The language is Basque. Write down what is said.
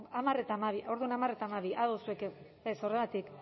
a hamar eta hamabi orduan ados zuek ez horregatik